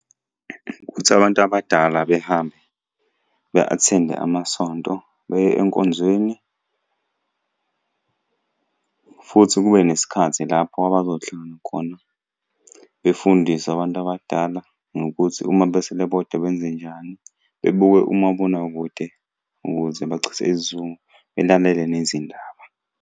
Ukuthi abantu abadala behambe be-attend-e amasonto, beye enkonzweni, futhi kube nesikhathi lapho abazohlangana khona, befundiswe abantu abadala ngokuthi uma besele bodwa benzenjani. Bebuke umabonakude ukuze bachithe isizungu, belalele nezindaba.